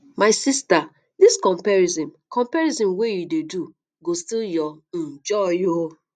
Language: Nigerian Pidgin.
my sista dis comparison comparison wey you dey do go steal your um joy o